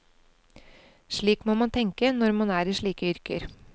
Slik må man tenke, når man er i slike yrker.